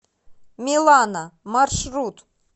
милана маршрут